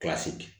Kilasi